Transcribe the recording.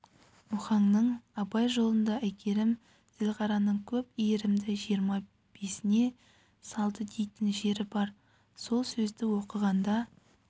мұхаңның абай жолында әйгерім зілғараның көп иірімді жиырма бесіне салды дейтін жері бар сол сөзді оқығанда